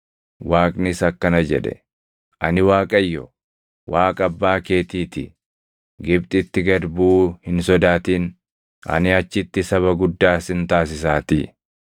Waaqnis akkana jedhe; “Ani Waaqayyo, Waaqa abbaa keetii ti. Gibxitti gad buʼuu hin sodaatin; ani achitti saba guddaa sin taasisaatii.